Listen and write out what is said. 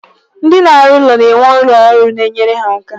Ndi na-arụ ụlọ na-enwe ụmụ ọrụ na enyere ha aka.